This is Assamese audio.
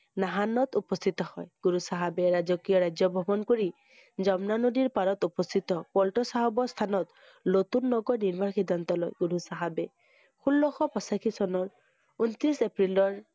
নাসানত উপস্থিত হয়। গুৰু চাহাবে ৰাজকীয় ৰাজ্য ভ্ৰমণ কৰি, যমুনা নদীৰ পাৰত উপস্থিত পান্ত চাহাবৰ স্থানত, নতুন নগৰ নিবাস সিদ্ধান্ত লয় গুৰু চাহাবে। ষোল্লশ পঁচাশী চনৰ ঊনত্ৰিশ এপ্ৰিলৰ